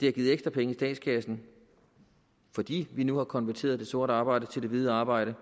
har givet ekstra penge i statskassen fordi vi nu har konverteret det sorte arbejde til hvidt arbejde